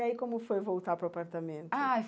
E aí como foi voltar para o apartamento? Ai